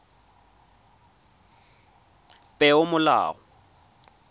peomolao